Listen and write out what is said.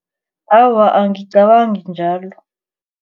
Awa, angicabangi njalo.